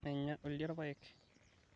meenya oldia irpaek